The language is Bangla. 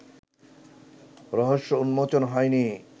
রহস্য উন্মোচন হয়নি